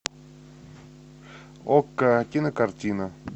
окко кинокартина